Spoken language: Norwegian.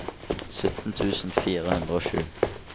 sytten tusen fire hundre og sju